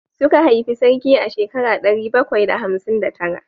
Suka haifi sarki a shekara ɗari bakwai da hamsin da tara